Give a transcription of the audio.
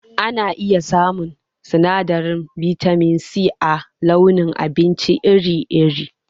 Ana iya samun sinadarin bitamin C a launin abinci iri iri